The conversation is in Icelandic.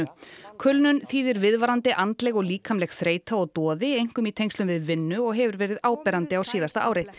kulnun þýðir viðvarandi andleg og líkamleg þreyta og doði einkum í tengslum við vinnu og hefur verið áberandi á árinu